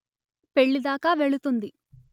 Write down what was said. పెళ్ళి దాకా వెళుతుంది